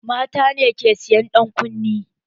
Mata ke sa ƴan kunne